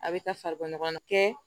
A bɛ taa farikolo ɲɔgɔn kɛ